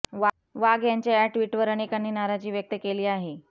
वाघ यांच्या या ट्विटवर अनेकांनी नाराजी व्यक्त केली आहे